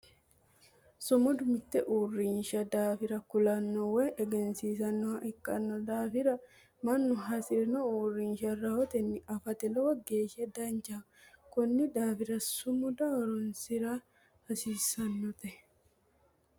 Sumudu mite uurinsha daafira kulano woyi egensiissanoha ikino daafira Manu hasirino uurinsha rahote afate lowo geesha danchaho konni daafira sumuda horoonsira hasiisanote.